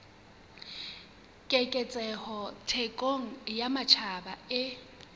keketseho thekong ya matjhaba e